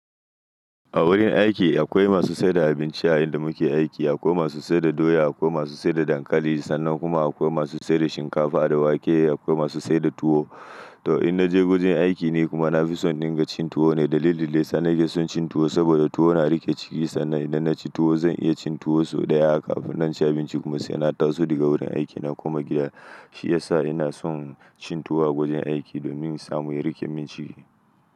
A wurin aiki akwai masu saida abinci a inda muke aiki, akwai masu saida doya, akwai masu saida dankali sannan kuma akwai masu saida shinkafa da wake akwai masu saida tuwo. To in naje wurin aiki ni kuma na fi son dinga cin tuwo ne dalili lesa nake son cin tuwo saboda tuwo na rike ciki sannan idan naci tuwo zan iya cin tuwo sau ɗaya akafin naci abinci kuma sai na taso daga wurin aikina kuma gida. Shi yasa ina son cin tuwo a wurin aiki domin samu ya rike min ciki.